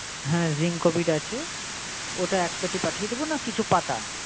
হ্যাঁ ring covid আছে। ওটা এক peti পাঠিয়ে দেবো না কিছু পাতা?